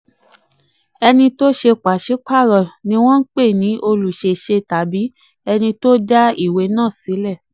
ẹni tó ṣe ìwé pàṣípààrọ̀ ni wọ́n ń pè ní olùṣèṣẹ̀ tàbí ẹni tó dá ìwé náà sílẹ̀.